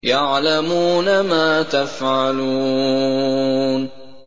يَعْلَمُونَ مَا تَفْعَلُونَ